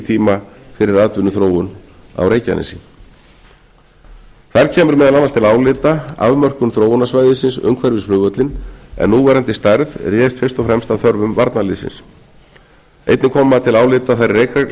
tíma fyrir atvinnuþróun á reykjanesi þar kemur meðal annars til álita afmörkun þróunarsvæðisins umhverfis flugvöllinn en núverandi stærð réðst fyrst og fremst að þörfum varnarliðsins einnig koma til álita þær